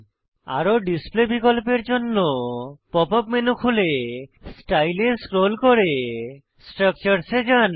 আরো ডিসপ্লে বিকল্পের জন্য পপ আপ মেনু খুলে স্টাইল এ স্ক্রোল করে স্ট্রাকচার্স এ যান